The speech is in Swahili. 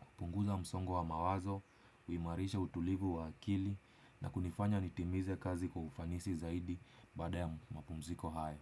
Kupunguza msongo wa mawazo, uimarisha utulivu wa akili na kunifanya nitimize kazi kwa ufanisi zaidi bada ya mapumziko haya.